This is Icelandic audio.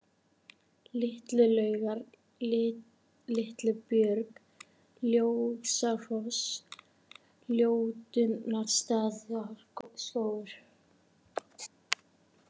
Litlu-Laugar, Litlubjörg, Ljósafoss, Ljótunnarstaðaskógur